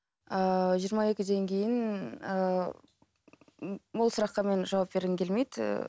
ыыы жиырма екіден кейін ыыы ол сұраққа мен жауап бергім келмейді